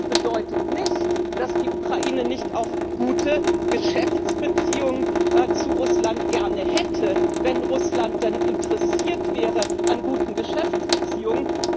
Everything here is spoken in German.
Das bedeutet nicht, dass die Ukraine nicht auch gerne gute Geschäftsbeziehungen zu Russland hätte, wenn Russland dann interessiert wäre an guten Geschäftsbeziehungen.